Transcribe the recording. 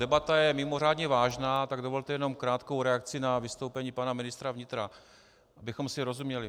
Debata je mimořádně vážná, tak dovolte jen krátkou reakci na vystoupení pana ministra vnitra, abychom si rozuměli.